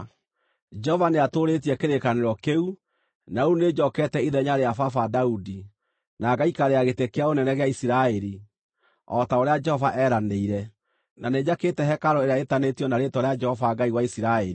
“Jehova nĩatũũrĩtie kĩrĩkanĩro kĩu, na rĩu nĩnjookete ithenya rĩa baba Daudi, na ngaikarĩra gĩtĩ kĩa ũnene gĩa Isiraeli, o ta ũrĩa Jehova eeranĩire, na nĩnjakĩte hekarũ ĩrĩa ĩtanĩtio na Rĩĩtwa rĩa Jehova Ngai wa Isiraeli.